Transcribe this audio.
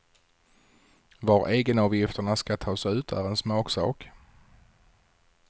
Var egenavgifterna ska tas ut är en smaksak.